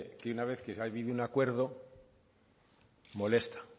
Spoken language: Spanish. que una vez que ha habido un acuerdo molesta